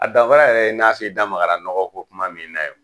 A danfara yɛrɛ ye n'a f'i da magara nɔgɔ ko kuma min na ye.